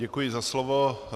Děkuji za slovo.